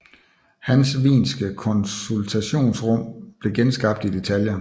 Hans wienske konsultationsrum blev genskabt i detaljer